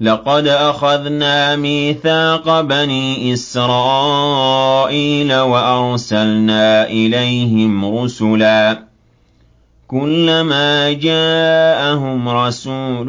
لَقَدْ أَخَذْنَا مِيثَاقَ بَنِي إِسْرَائِيلَ وَأَرْسَلْنَا إِلَيْهِمْ رُسُلًا ۖ كُلَّمَا جَاءَهُمْ رَسُولٌ